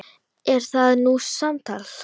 Er það nú samtal!